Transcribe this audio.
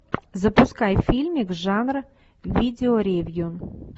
запускай фильмик жанра видеоревью